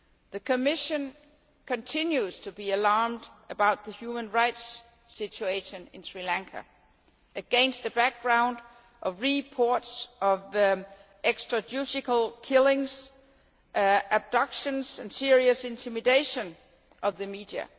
The Commission continues to be alarmed about the human rights situation in Sri Lanka, against a background of reports of extrajudicial killings, abductions and serious intimidation of the media.